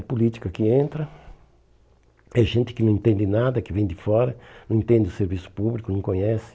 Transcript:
A política que entra, é gente que não entende nada, que vem de fora, não entende o serviço público, não conhece.